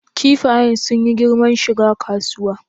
Kifayen sun yi girman shiga kasuwa?